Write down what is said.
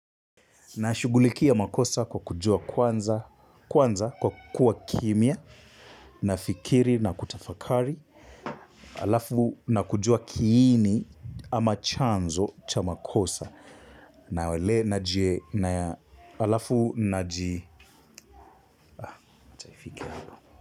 Nashugulikia makosa kwa kujua kwanza, kwanza kwa kuwa kimya, nafikiri na kutafakari, alafu na kujua kiini ama chanzo cha makosa. Nawele na ji, alafu na ji.